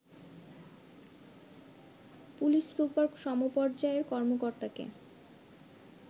police super সমপর্যায়ের কর্মকর্তাকে